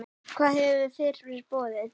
Hvað hefur fyrir borið?